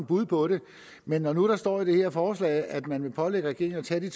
bud på det men når nu der står i det her forslag at man vil pålægge regeringen at tage de